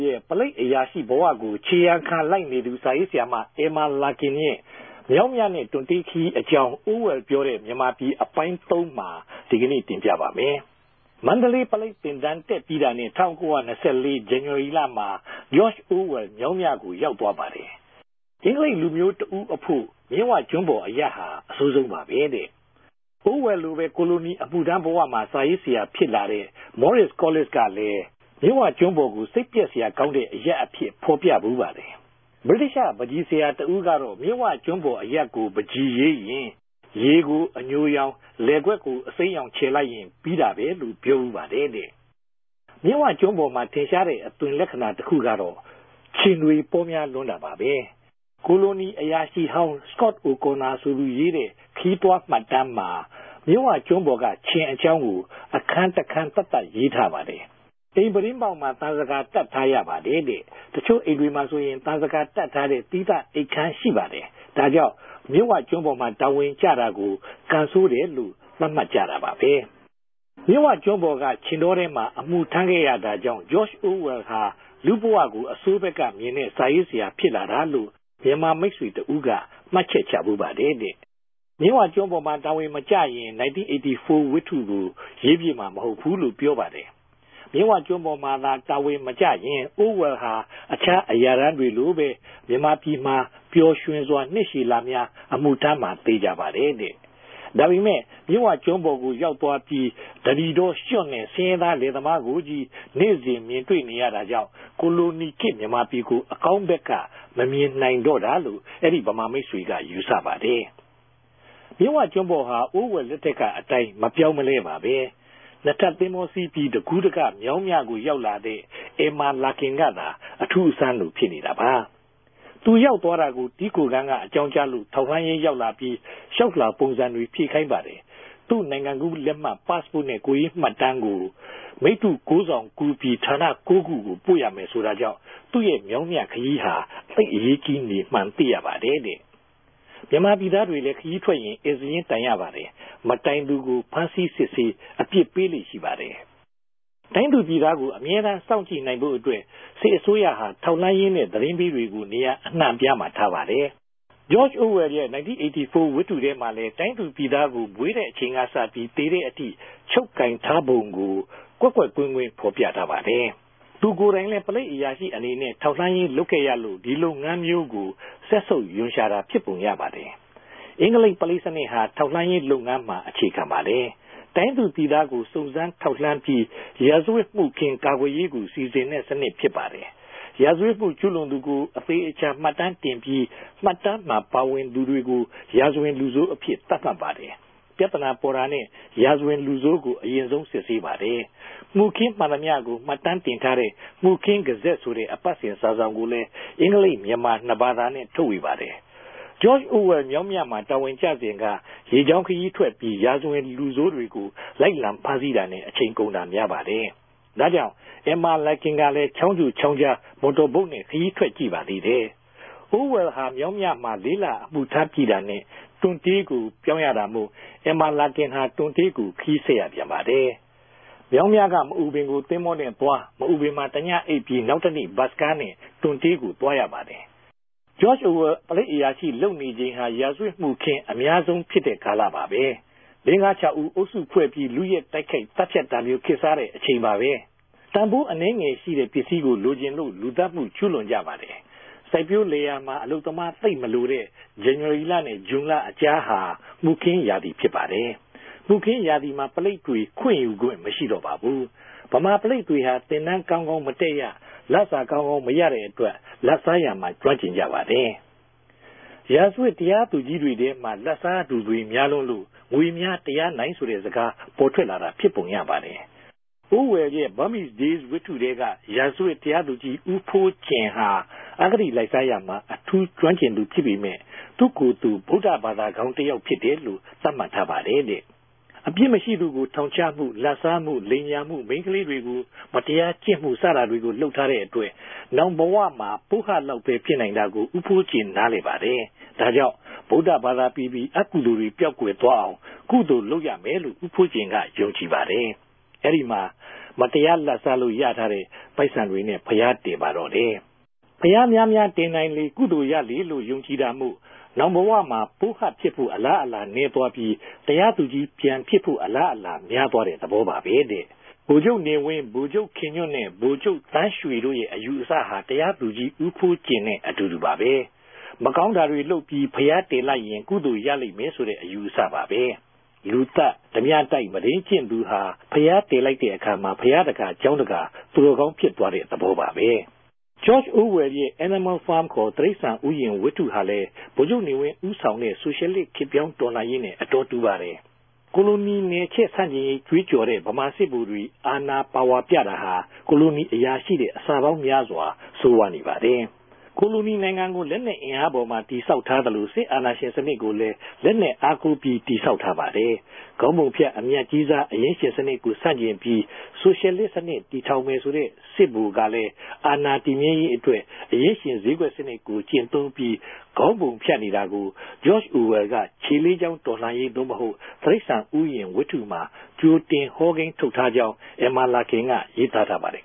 ရဲ့ ပုလိပ်အရာရြိဘဝကို ေူခရာခံလိုက်နေသူ စာရေးဆရာမ အမ်မာလာကင်ရဲ့ ေူမာင်းူမနဲႛ တံြတေးခရီးအေုကာင်း အိုဝယ်လ်ေူပာတဲ့ ူမန်မာူပည် အပိုင်း ၃မြာ တင်ူပလိုက်ပၝတယ်။ မ္ဈိံလေးပုလိပ်သင်တန်း တက်္ဘပီးတာနဲႛ ၁၉၂၄ ဇန်နဝၝရီမြာ ဂေဵာ့ခဵ် အိုဝယ်လ် ေူမာင်းူမကို ရောက်သြားပၝတယ်။ အဂဿလိပ်လူမဵြိးတဦးအဖိုႛ ူမစ်ဝကဋ္ဋန်းပေၞအရပ်ဟာ အဆိုးဆုံးပၝပဲတဲ့။ အိုဝယ်လ်လိုပဲ ကိုလိုနီ အမထြမ်းဘ၀ စာရေးဆရာူဖစ်လာတဲ့ မောရစ်စ် ကောလစ်စ်(Maurice Collis)ကလည်း ူမစ်ဝကဋ္ဋန်းပေၞကို စိတ်ပဵက်စရာကောင်းတဲ့ အရပ်အူဖစ် ဖော်ူပဘူးပၝတယ်။ ္ဘဗိတိသ္တွပန်းခဵီဆရာတဦးကတော့ ူမစ်ဝကဋ္ဋန်းပေၞအရပ်ကို ပန်းခဵီရေးရင် ရေကိုအညြိရောင်၊ လယ်ကြက်ကို အစိမ်းရောင်ူခယ်လိုက်ရင် ္ဘပီးတာပဲလိုႛ ေူပာဘူးပၝတယ်တဲ့။ ူမစ်ဝကဋ္ဋန်းပေၞရဲ့ ထင်ရြားတဲ့ အသြင်လက္ခဏာ တခုကတော့ ူခင်ကောင်တြေ ပေၝမဵားလြန်းတာပၝပဲ။ ကိုလိုနီအရာရြိဟောင်း စကော့ အိုကော်နာ (Scott O'Connor) ဆိုသူရေးတဲ့ ခရီးသြားမြတ်တမ်းမြာ ူမစ်ဝကဋ္ဋန်းပေၞက ူခင်အေုကာင်းကို အခန်းတခန်းသတ်သတ် ရေးထားပၝတယ်။ အိမ်ူပတြင်းပေၝက်မြာ သံဇကာတပ်ထားရပၝတယ်တဲ့။ တခဵြိႚအိမ်တေမြြာဆိုရင် သံဇကာတပ်ထားတဲ့ သီးသန်ႛအိပ်ခန်းရြိပၝတယ်။ ဒၝေုကာင့် ူမစ်ဝကဋ္ဋန်းပေၞမြာ တာဝန်ကဵတာကို ကံဆိုးတယ်လိုႛ သတ်မြတ်ုကပၝတယ်။ ူမစ်ဝကဋ္ဋန်းပေၞက ူခင်တောထဲမြာ အမထြမ်းခဲ့ရတာေုကာင့် ဂေဵာ့ခဵ် အိုဝယ်လ်ဟာ လူႛဘဝကို အဆိုးဘက်ကူမင်တဲ့ စာရေးဆရာူဖစ်လာတာလိုႛ ူမန်မာမိတ်ဆေတြဦးက မြတ်ခဵက်ခဵဘူးပၝတယ်တဲ့။ ူမစ်ဝကဋ္ဋန်းပေၞမြာ တာဝန်မကဵရင် 1984 ဝတဉကြို ရေးူဖစ်မြာမဟုတ်ဘူးလိုႛ ေူပာပၝတယ်။ ူမစ်ဝကဋ္ဋန်းပေၞမြာသာ တာဝန်မကဵရင် အိုဝယ်လ်ဟာ အူခားအရာထမ်းတေလြိုပဲ ူမန်မာူပည်မြာ ပေဵာ်႟ြင်စြာ ိံြစ်ရြည်လမဵား အမထြမ်းမြာ သေခဵာပၝတယ်တဲ့။ ဒၝပေမဲ့ ူမစ်ဝကဋ္ဋန်းပေၞကို ရောက်သြား္ဘပီး ဓနိတော၊ ႟ြံႛနဲႛ ဆင်းရဲသား လယ်သမားကိုခဵည်း နေႛစဉ်ူမင် တြေႛနေတာေုကာင့် ကိုလိုနီခေတ်ူမန်မာူပည်ကို အကောင်းဘက်က မူမငိံိုင်တော့တာလိုႛ အဲဒီဗမာမိတ်ဆေကြ ယူဆပၝတယ်။ ူမစ်ဝကဋ္ဋန်းပေၞဟာ အိုဝယ်လ်လက်ထက်ကအတိုင်း မေူပာင်းမလဲပၝဘဲ။ ိံြစ်ထပ်သဘေဿာစီး္ဘပီး တကူးတက ေူမာင်းူမကိုရောက်လာတဲ့ အမ်မာလာကင်ကသာ အထူးအဆန်းလို ူဖစ်နေတာပၝ။ သူရောက်သြားတာကို တည်းခိုခန်းက အေုကာင်းုကားလိုႛ ထောက်လြမ်းရေးရောက်လ္ဘာပီး လ္တေွာက်လြာပုံစံတြေ ူဖည့်ခိုင်းပၝတယ်။ သူႛိံိုင်ငံကူးလက်မြတ် Passport နဲႛ ကိုယ်ရေးမြတ်တမ်းကို မိတ္ဇြ ၉ စောင်ကူး္ဘပီး ဌာန ၉ခုကို ပိုႛရမယ်လိုႛဆိုတာေုကာင့် သူႛေူမာင်းူမခရီးဟာ သိပ် အရေးဋ္ဌကီးနေမြန်း သိရပၝတယ်တဲ့။ ူမန်မာူပည်သားတေလြည်း ခရီးထြက်ရင် ဧည့်စာရင်းတိုင်ရပၝတယ်။ မတိုင်သူကို ဖမ်းဆီးစစ်ဆေး အူပစ်ပေးလေ့ရြိပၝတယ်။ တိုင်းသူူပည်သားကို အ္ဘမဲတမ်း စောင့်ုကည့ိံိုင်ဖိုႛအတြက် စစ်အစိုးရဟာ ထောက်လြမ်းရေးနဲႛ သတင်းပေးတေကြို နေရာအိံြံႛအူပားမြာထားပၝတယ်။ ဂေဵာ့ခဵ် အိုဝယ်လ်ရဲ့ 1984 ဝတဉထြဲမြာလည်း တိုင်းသူူပည်သားကို မြေးတဲ့အခဵိန်ကစ္ဘပီး သေတဲ့အထိ ခဵြပ်ကိုင်ထားပုံကို ကြင်းကြင်းကြက်ကြက် ဖော်ူပထားပၝတယ်။ သူကိုယ်တိုင်လည်း ပုလိပ်အရာရြိအနေနဲႛ ထောက်လြမ်းရေးလုပ်ခဲ့ရလိုႛ ဒီလုပ်ငန်းမဵြိးကို စက်ဆုပ်႟ံရြြာတာ ူဖစ်ပုံရပၝတယ်။ အဂဿလိပ်ပုလိပ်စနစ်ဟာ ထောက်လြမ်းရေးလုပ်ငန်းမြာ အေူခခံထားပၝတယ်။ တိုင်းသူူပည်သားကို စုံစမ်းထောက်လြမ်း္ဘပီး ရာဇဝတ် မခြင်းကာကြယ်ရေးကို စီစဉ်တဲ့စနစ်ူဖစ်ပၝတယ်။ ရာဇဝတ်မကြဵြးလြန်သူကို အသေအခဵာ မြတ်တမ်းတင်္ဘပီး မြတ်တမ်းမြာ ပၝဝင်သူတေကြို ရာဇဝင်လူဆိုးအူဖစ် သတ်မြတ်ပၝတယ်။ ူင်္ပံနာပေၞတာနဲႛ ရာဇဝင်လူဆိုးကို အရင်ဆုံး စစ်ဆေးပၝတယ်။ မခြင်းမြန်သမ္တွကိုမြတ်တမ်းတင်ထားတဲ့ 'မခြင်းဂဇက်' ဆိုတဲ့ အပတ်စဉ်စာစောင် ကိုလည်း အဂဿလိပ်၊ ူမန်မာ ိံြစ်ဘာသာနဲႛ ထုတ်ဝေပၝတယ်။ ဂေဵာ့ခဵ် အိုဝယ်လ် ေူမာင်းူမမြာတာဝန်ကဵစဉ်က ရေေုကာင်းခရီးထြက်္ဘပီး ရာဇဝင်လူဆိုးတေကြို လိုက်လံ ဖမ်းဆီးတာနဲႛ အခဵိန်ကုန်တာမဵားပၝတယ်။ ဒၝေုကာင့် အမ်မာလာကင် ကလည်း ခေဵာင်းုကြခေဵာင်းုကား မော်တော်ဘုတ်နဲႛခရီးထြက် ုကည့်ပၝသေးတယ်။ အိုးဝဲလ်ဟာ ေူမာင်းူမမြာ ၄ လအမထြမ်း္ဘပီးတာနဲႛ တံြတေးကို ေူပာင်းရတာမိုႛ အမ်မာလာကင်ဟာ တံြတေးကို ခရီးဆက်ရူပန်ပၝတယ်။ ေူမာင်းူမက မအူပင်ကို သဘေဿာနဲႛသြား္ဘပီး မအူပင်မြာတညအိပ်္ဘပီး နောက်တနေႛ ဘတ်စ်ကားနဲႛ တံြတေးကိုသြားရပၝတယ်။ ဂေဵာ့ခဵ် အိုဝယ်လ် ပုလိပ်အရာရြိလုပ်နေခဵိန်ဟာ ရာဇဝတ်မခြင်း အမဵားဆုံး ကာလူဖစ်ပၝတယ်။ လေး-ငၝးဦး အုပ်စုဖဲြႚ္ဘပီး လုယက် တိုက်ခိုက် သတ်ူဖတ်တာမဵြိး ခေတ်စားတဲ့အခဵိန်ပၝပဲ။ တန်ဖိုးအနည်းငယ်ရြိတဲ့ ပင်္စည်းကို လိုခဵင်လိုႛ လူသတ်မကြဵြးလြန်ုကပၝတယ်။ စိုက်ပဵြိးလယ်ယာမြာ အလုပ်သမား သိပ်မလိုတဲ့ ဇန်နဝၝရီလနဲႛ ဇြန်လအုကားဟာ မခြင်းရာသီူဖစ်ပၝတယ်။ မခြင်းရာသီမြာ ပုလိပ်တြေ ခြင့်ယူခြင့် မရြိတော့ပၝဘူး။ ဗမာပုလိပ်တေဟြာ သင်တန်းကောင်းကောင်းမတက်ရ၊ လစာ ကောင်းကောင်းမရတဲ့အတြက် လာဘ်စားရာမြာ ကဋ္ဋမ်းကဵင်ုကပၝတယ်။ ရာဇဝတ်တရားသူဋ္ဌကီးတေထြဲမြာလည်း လာဘ်စားသူတြေ မဵားလြန်းလိုႛ ငေမြဵားတရားိံိုင် ဆိုတဲ့စကား ပေၞထြက်လာတာ ူဖစ်ပုံရပၝတယ်။ အိုဝယ်လ်ရဲ့ Burmese Days ဝတဉထြဲက ရာဇဝတ်တရားသူဋ္ဌကီး ဦးဖိုးုကင်ဟာ အဂတိလိုက်စားရာမြာ အထူးကဋ္ဋမ်းကဵင်သူူဖစ်ပေမယ့် သူႛကိုယ်သူ ဗုဒ္ဌဘာသာဝင်ကောင်း တယောက်ူဖစ်တယ်လိုႛ သတ်မြတ်ထားပၝတယ်တဲ့။ အူပစ်မရြိသူကိုထောင်ခဵမြ၊ လာဘ်စားမြ၊ လိမ်ညာမြ၊ မိန်းကလေးတေကြို မတရားကဵင့်မြ စတာတေကြို လုပ်ထားတဲ့အတြက် နောင်ဘဝမြာ ပိုးဟပ်လောက်ပဲ ူဖစိံိုင်တာကို ဦးဖိုးုကင် နားလည်ပၝတယ်။ ဒၝေုကာင့် ဗုဒ္ဌဘာသာပီပီ အကုသိုလ်တေကြြယ်ပေဵာက်သြားအောင် ကုသိုလ်လုပ်ရမယ်လိုႛ ဦးဖိုးုကင်က ယုံကည်ပၝတယ်။ အဲဒီမြာ မတရားလာဘ်စားလိုႛ ရထားတဲ့ပိုက်ဆံတေနြဲႛ ဘုရားတည်ပၝတော့တယ်။ ဘုရားမဵားမဵားတညိံိုင်လေ ကုသိုလ်ရလေလိုႛ ယုံကည်တာမိုႛ နောင်ဘဝမြာ ပိုးဟပ်ူဖစ်ဖိုႛ အလားအလာနည်းသြား္ဘပီး တရားသူဋ္ဌကီးူပန်ူဖစ်ဖိုႛ အလားအလာ မဵားသြားတဲ့သဘောပၝပဲတဲ့။ ဗိုလ်ခဵြပ်နေဝင်း၊ ဗိုလ်ခဵြပ်ခင်ႌြန်ႛနဲႛ ဗိုလ်ခဵြပ်သန်းေ႟တြိုႛရဲ့ အယူအဆဟာ တရားသူဋ္ဌကီး ဦးဖိုးုကင်နဲႛ အတူတူပၝပဲ။ မကောင်းတာတေလြုပ်္ဘပီး ဘုရားတည်လိုက်ရင် ကုသိုလ်ရလိမ့်ဆိုတဲ့ အယူအဆပၝပဲ။ ဓၝးူပတိုက်၊ လူသတ်၊ မုဒိမ်းကဵင့်သူဟာ ဘုရားတည်လိုက်တဲ့အခၝမြာ ဘုရားတကာ၊ ကေဵာင်းတကာ သူတော်ကောင်း ူဖစ်သြားတဲ့သဘောပၝပဲ။ ဂေဵာ့ခဵ် အိုဝယ်လ်ရဲ့ Animal Farm ခေၞ တိ႟စ္စာန်ဥယဵာဉ်ဝတ�ဟြာလည်း ဗိုလ်ခဵြပ်နေဝင်း ဦးဆောင်ခဲ့တဲ့ ဆိုရြယ်လစ် ခေတ်ေူပာင်းတော်လြန်ရေးနဲႛ အတော်တူပၝတယ်။ ကိုလိုနီနယ်ခဵ�ဲဆန်ႛကဵင်ရေး ေ့ကးေုကာ်တဲ့ ဗမာစစ်ဗိုလ်တြေ အာဏာပၝဝၝူပတာဟာ ကိုလိုနီအရာရြိထက် အဆပေၝင်းမဵားစြာ ဆိုးဝၝးနေပၝတယ်။ ကိုလိုနီံိုင်ငံကို လက်နက်အင်အားအပေၞမြာ တည်ဆောက်ထားသလို စစ်အာဏာရြင်စနစ်ကိုလည်း လက်နက်အားကိုး္ဘပီး တည်ဆောက်ထားပၝတယ်။ ခေၝင်းပုူံဖတ် အူမတ်ဋ္ဌကီးစား အရင်းရြင်စနစ်ကိုဆန်ႛကဵင်္ဘပီး ဆိုရြယ်လစ်စနစ်တည်ထောင်မယ်ဆိုတဲ့ စစ်ဗိုလ်က အာဏာတည်္ဘမဲရေးအတြက် အရင်းရြင်စေဵးကြက်စနစ် ကဵင့်သုံး္ဘပီး ခေၝင်းပုူံဖတ်နေတာကို ဂေဵာ့ခဵ် အိုဝယ်လ်က ေူခလေးခေဵာင်းတော်လြန်ရေး (သိုႛမဟုတ်) တိ႟ဈာန်ဥယဵာဉ်ဝတဉမြြာ ဋ္ဌကိတြင်ဟောကိန်းထုတ်ထားေုကာင်း အမ်မာလာကင်က ရေးသားထားပၝတယ်